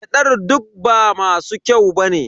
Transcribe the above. Gyadar duk ba masu kyau ba ne.